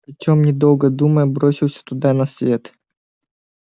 артем не долго думая бросился туда на свет